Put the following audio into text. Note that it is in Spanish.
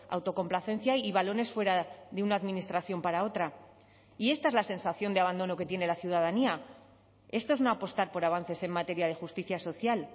autocomplacencia y balones fuera de una administración para otra y esta es la sensación de abandono que tiene la ciudadanía esto es no apostar por avances en materia de justicia social